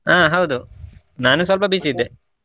ಹಾ ಹೌದು ನಾನು ಸ್ವಲ್ಪ busy ಇದ್ದೆ.